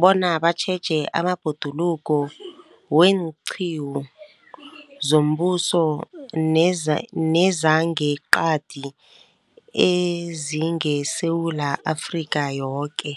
bona batjheje amabhoduluko weenqiwu zombuso neza, nezangeqadi ezingeSewula Afrika yoke.